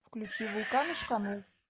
включи вулкан ишканул